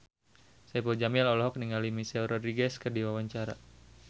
Saipul Jamil olohok ningali Michelle Rodriguez keur diwawancara